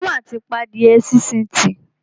Èmi mà ti pa adíẹ sínsìn tì.